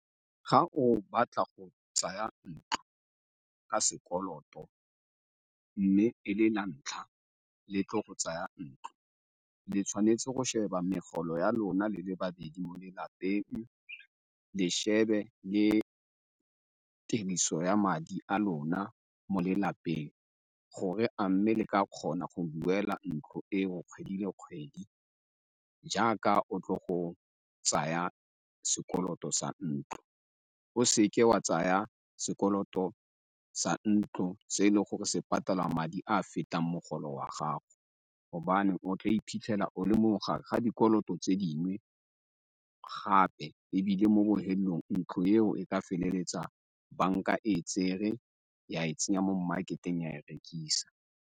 Ga o batla go tsaya ntlo ka sekoloto mme e le la ntlha le tlo go tsaya ntlo, le tshwanetse go sheba megolo ya lona le le babedi mo lelapeng, le shebe le tiriso ya madi a lona mo lelapeng gore a mme le ka kgona go duela ntlo eo kgwedi le kgwedi jaaka o tlo go tsaya sekoloto sa ntlo. O seke wa tsaya sekoloto sa ntlo se e le gore se patala madi a a fetang mogolo wa gago gobane o tla iphitlhela o le mo mogare ga dikoloto tse dingwe gape ebile mo bohelelong ntlo eo e ka feleletsa banka e e tsere ya e tsenya mo market-teng ya e rekisa.